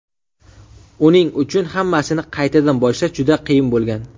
Uning uchun hammasini qaytadan boshlash juda qiyin bo‘lgan.